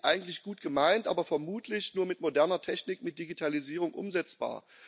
Die Idee ist eigentlich gut gemeint, aber vermutlich nur mit moderner Technik, mit Digitalisierung umsetzbar.